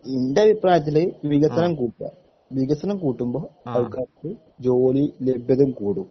ൻ്റെ അഭിപ്രായത്തില് വികസനം കൂട്ടുക വികസനം കൂട്ടുമ്പോ ആൾക്കാർക്ക് ജോലിലബ്‌ദത കൂടും